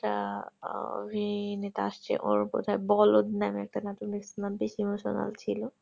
অভি নেতা আসছে ওর বলধ নামের একটা নাটক দেখেছিলাম বেশি emotional ছিল